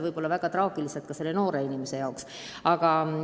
Konkreetse noore inimese jaoks aga võib olukord olla väga traagiline.